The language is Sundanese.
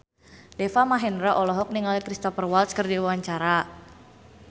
Deva Mahendra olohok ningali Cristhoper Waltz keur diwawancara